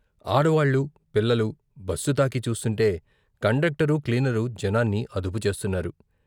ఆడవాళ్లు, పిల్లలు బస్సు తాకి చూస్తుంటే కండక్టరు, క్లీనరు జనాన్ని అదుపుచేస్తున్నారు.